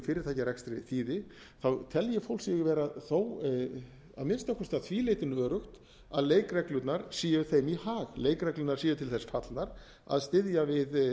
fyrirtækjarekstri þýði þá telji fólk sig vera þó að minnsta kosti því leytinu öruggt að leikreglurnar séu þeim í hag leikreglurnar séu til þess fallnar að styðja við